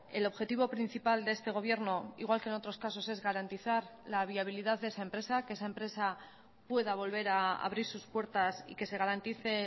el objetivo principal de este gobierno igual que en otros casos es garantizar la viabilidad de esa empresa que esa empresa pueda volver a abrir sus puertas y que se garantice